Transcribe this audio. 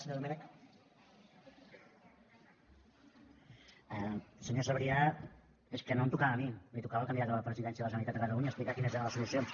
senyor sabrià és que no em tocava a mi li tocava al candidat a la presidència de la generalitat de catalunya explicar quines eren les solucions